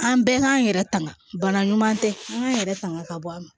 An bɛɛ k'an yɛrɛ tanga bana ɲuman tɛ an k'an yɛrɛ faga ka bɔ a ma